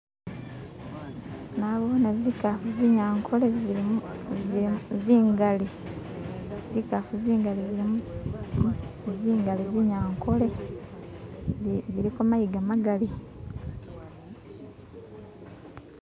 nabone zikafu zinyankole zili zingali zikafu zingali zinyankole ziliko mayiga magali